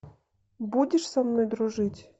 будешь со мной дружить